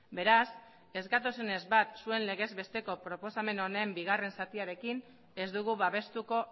beraz ez gatozenez bat zuen legez besteko proposamen honen bigarren zatiarekin ez dugu babestuko